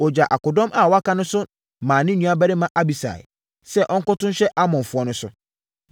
Ɔgyaa akodɔm a wɔaka no maa ne nuabarima Abisai sɛ ɔnkɔto nhyɛ Amonfoɔ no so.